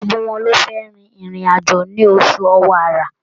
Gbogbo wọn lọ́ fẹ́ rin ìrìn àjò ní oṣù Ọ̀wàrà.